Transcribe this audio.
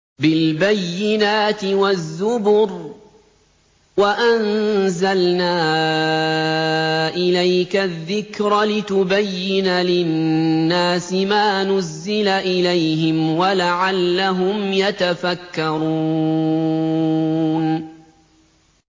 بِالْبَيِّنَاتِ وَالزُّبُرِ ۗ وَأَنزَلْنَا إِلَيْكَ الذِّكْرَ لِتُبَيِّنَ لِلنَّاسِ مَا نُزِّلَ إِلَيْهِمْ وَلَعَلَّهُمْ يَتَفَكَّرُونَ